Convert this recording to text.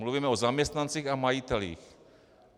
Mluvíme o zaměstnancích a majitelích.